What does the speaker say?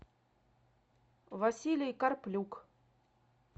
василий карплюк